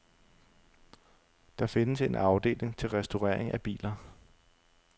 Der findes en afdeling til restaurering af biler.